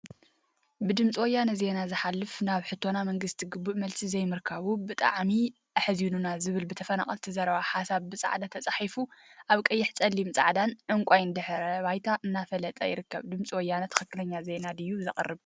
ብድምፂ ወያነ ዜና ዝሓለፈ ናብ ሕቶና ብመንግስቲ ግቡእ መልሲ ዘይምርካቡ ብጣዕሚ አሕዚኑና ዝብል ብተፈናቀልቲ ዝቀረበ ሓሳብ ብፃዕዳ ተፃሒፉ አብ ቀይሕ፣ ፀሊም፣ ፃዕዳን ዕንቋይን ድሕረ ባይታ እናፋለጠ ይርከብ፡፡ ድምፂ ወያነ ትክክለኛ ዜና ድዩ ዘቅርብ?